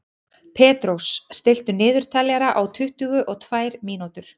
Petrós, stilltu niðurteljara á tuttugu og tvær mínútur.